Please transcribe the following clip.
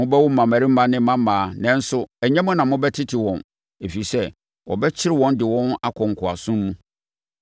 Mobɛwo mmammarima ne mmammaa nanso ɛnyɛ mo na mobɛtete wɔn, ɛfiri sɛ, wɔbɛkyere wɔn de wɔn akɔ nkoasom mu.